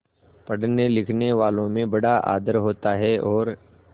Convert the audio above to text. पढ़नेलिखनेवालों में बड़ा आदर होता है और